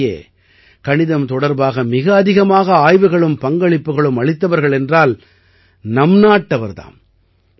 உள்ளபடியே கணிதம் தொடர்பாக மிக அதிகமாக ஆய்வுகளும் பங்களிப்புக்களும் அளித்தவர்கள் என்றால் நம் நாட்டவர் தாம்